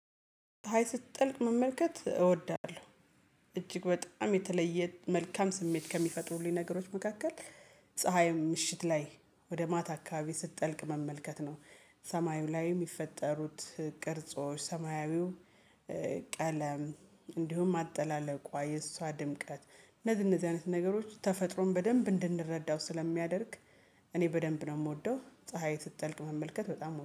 ፀሀይ ስትጠልቅ መመልከት እወዳለሁ። እጅግ በጣም የተለየ መልካም ስሜት ከሚፈጥሩልኝ ነገሮች መካከል። ፀሀይም ምሽት ላይ ወደ ማታ አካባቢ ስትጠልቅ መመልከት ነው። ሰማዩ ላይም የሚፈጠሩት ቅርጾች ሰማያዊው ቀለም እንዲሁም አጠላለቋ የእሷ ድምቅት እነዚህ እነዚህ አይነት ነገሮች ተፈጥሮን በደንብ እንድንረዳው ስለሚያደርግ። እኔ በደንብ ነው የምወደው ፀሀይ ስትጠልቅ መመልከት በጣም